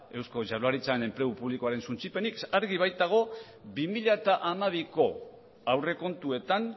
eusko jaurlaritzan enplegu publikoaren suntsipenik argi baitago bi mila hamabiko aurrekontuetan